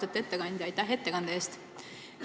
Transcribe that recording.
Austatud ettekandja, aitäh ettekande eest!